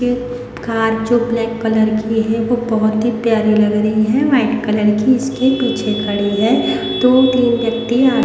ये कार जो black colour कि है वो बहुत ही प्यारी लग रही है वाइट कलर की इसके पीछे खड़ी है दो तीन व्यक्ती आ --